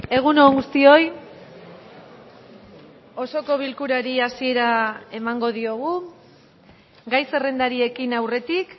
egun on guztioi osoko bilkurari hasiera emango diogu gai zerrendari ekin aurretik